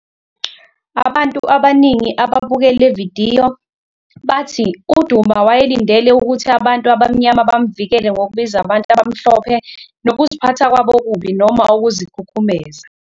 Abantu abaningi ababuke le vidiyo bathi uDuma wayelindele ukuthi abantu abaMnyama bamvikele ngokubiza abantu abamhlophe "nokuziphatha kwabo okubi" noma "ukuzikhukhumeza".